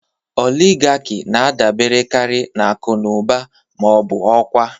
Oligarki na-adaberekarị na akụ na ụba ma ọ bụ ọkwa.